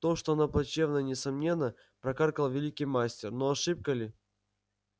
то что она плачевна несомненно прокаркал великий мастер но ошибка ли